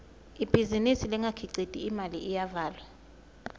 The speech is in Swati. ibhizinisi lengakhiciti imali iyavalwa